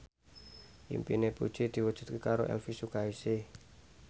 impine Puji diwujudke karo Elvy Sukaesih